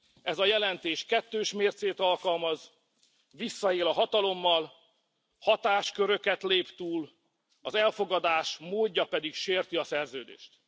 Ez a jelentés kettős mércét alkalmaz, visszaél a hatalommal, hatásköröket lép túl, az elfogadás módja pedig sérti a szerződést.